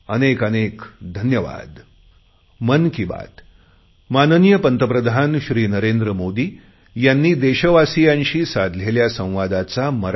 अनेक अनेक धन्यवाद